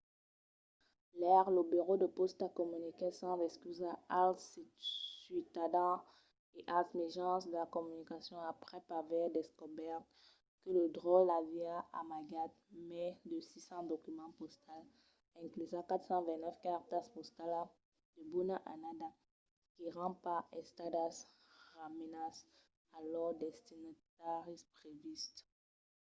ièr lo burèu de pòsta comuniquèt sas excusas als ciutadans e als mejans de comunicacion aprèp aver descobèrt que lo dròlle aviá amagat mai de 600 documents postals inclusas 429 cartas postalas de bona annada qu’èran pas estadas remesas a lors destinataris previstes